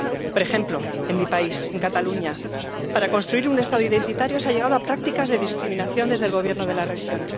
Por ejemplo, en mi país, en Cataluña, para construir un Estado identitario se ha llegado a prácticas de discriminación desde el Gobierno de la región.